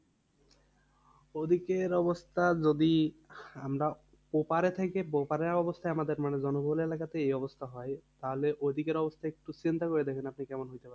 ওদিকের অবস্থা যদি আমরা ওপারে থেকে ওপারের অবস্থা আমাদের মানে জনবহুল এলাকাতে এই অবস্থা হয়, তাহলে ওদিকের অবস্থা একটু চিন্তা করে দেখেন আপনি কেমন হইতে পারে।